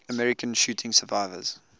american shooting survivors